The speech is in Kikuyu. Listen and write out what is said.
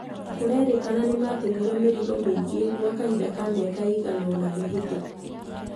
Kũrerikana nĩmatũmĩrwo mĩrigo mĩingĩ gwa kahinda ka mĩaka ĩigana ũna mĩhĩtũku.